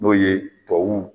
N'o ye .